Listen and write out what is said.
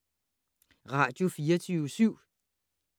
Radio24syv